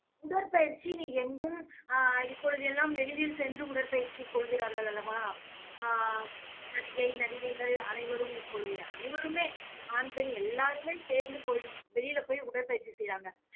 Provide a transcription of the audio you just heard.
உடற்பயிற்சி நீ எங்கும் ஆஹ் இப்பொழுது எல்லாம் வெளியில் சென்று உடற்பயிற்சி கொள்கிறார்கள் அல்லவா? ஆஹ் நடிகை, நடிகைகள் அனைவரும் இப்பொழுது அனைவருமே ஆண், பெண் எல்லாருமே சேர்ந்து போய் வெளியிலே போய் உடற்பயிற்சி செய்யறாங்க